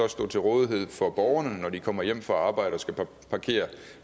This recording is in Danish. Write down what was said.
stå til rådighed for borgerne når de kommer hjem fra arbejde og skal parkere